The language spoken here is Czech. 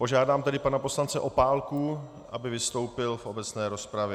Požádám tedy pana poslance Opálku, aby vystoupil v obecné rozpravě.